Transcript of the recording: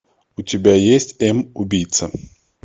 у тебя есть м убийца